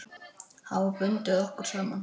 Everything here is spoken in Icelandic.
Hafa bundið okkur saman.